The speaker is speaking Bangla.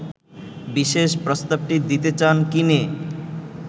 বিশেষ প্রস্তাবটি দিতে চান কিনে